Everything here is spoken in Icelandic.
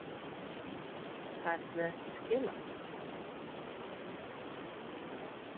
Færðu ekki skilaboð?